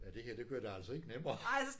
Ja det her det gør det altså ikke nemmere